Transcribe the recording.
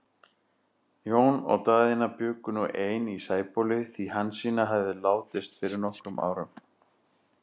Jón og Daðína bjuggu nú ein í Sæbóli, því Hansína hafði látist fyrir nokkrum árum.